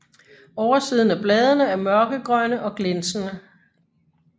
Oversiden af bladene er mørkegrønne og glinsende